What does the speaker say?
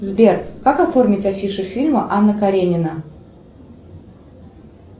сбер как оформить афишу фильма анна каренина